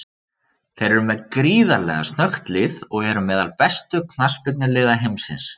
Þeir eru með gríðarlega snöggt lið og eru meðal bestu knattspyrnuliða heimsins.